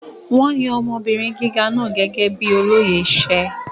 Wón yan ọmọbìnrin gíga náà gẹ́gẹ́ bíi olóyè iṣẹ́.